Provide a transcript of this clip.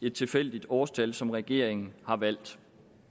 et tilfældigt årstal som regeringen har valgt